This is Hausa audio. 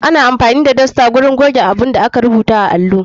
Ana amfani da dosta wurin goge abunda aka rubuta a allo.